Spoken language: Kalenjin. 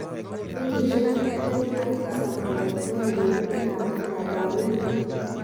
Kenyisiek tiptem ak tisab kogeten ngebut inatut ab Berlin.